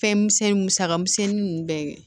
Fɛn misɛnnin musaka misɛnnin ninnu bɛɛ